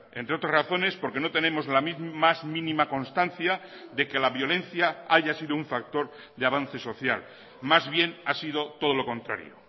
entre otras razones porque no tenemos la más mínima constancia de que la violencia haya sido un factor de avance social más bien ha sido todo lo contrario